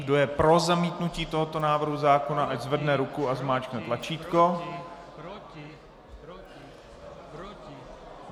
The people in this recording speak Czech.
Kdo je pro zamítnutí tohoto návrhu zákona, ať zvedne ruku a zmáčkne tlačítko.